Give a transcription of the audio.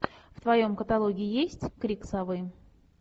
в твоем каталоге есть крик совы